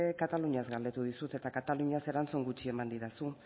nik kataluniaz galdetu dizut eta kataluniaz erantzun gutxi eman didazu